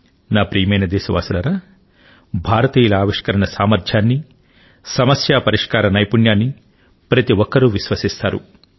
నా ప్రియమైన దేశవాసులారా భారతీయుల ఆవిష్కరణ సామర్థ్యాన్ని సమస్యా పరిష్కార నైపుణ్యాన్ని ప్రతి ఒక్కరూ విశ్వసిస్తారు